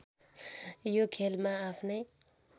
यो खेलमा आफ्नै